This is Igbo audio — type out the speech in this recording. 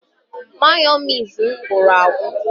Mayonezi m gwụrụ agwụ